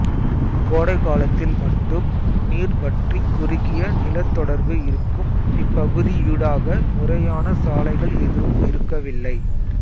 கோடை காலத்தில் மட்டும் நீர் வற்றிக் குறுகிய நிலத்தொடர்பு இருக்கும் இப்பகுதியூடாக முறையான சாலைகள் எதுவும் இருக்கவில்லை